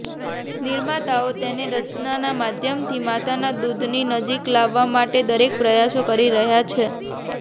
નિર્માતાઓ તેને રચનાના માધ્યમથી માતાના દૂધની નજીક લાવવા માટે દરેક પ્રયાસ કરી રહ્યાં છે